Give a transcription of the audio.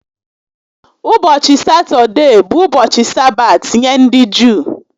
Ụbọchị Satọdee bụ ụbọchị Sabaat nye ndị Juu